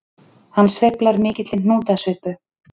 Hann sveiflar mikilli hnútasvipu.